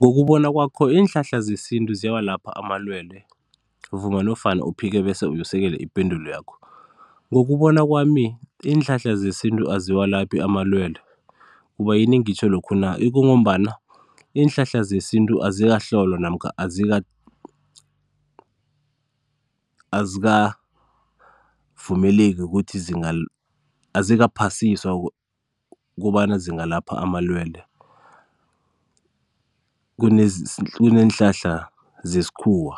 Ngokubona kwakho, iinhlahla zesintu ziyawalapha amalwelwe? Vuma nofana uphike bese usekele ipendulo yakho. Ngokubona kwami iinhlahla zesintu aziwalaphi amalwelwe, kubayini ngitjho lokhu na, ikungombana iinhlahla zesintu azikahlolwa namkha azika, azikavumeleki ukuthi zinga, azikaphasiswa kobana zingalapha amalwelwe. kuneenhlahla zesikhuwa,